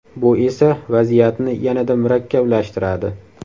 Bu esa vaziyatni yanada murakkablashtiradi.